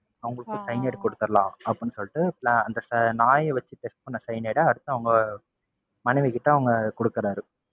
அவங்களுக்கு சைனைட் குடுத்தறலாம் அப்படின்னு சொல்லிட்டு அந்த நாய வச்சு test பண்ண cyanide அடுத்து அவங்க மனைவி கிட்ட அவரு குடுக்குறாரு.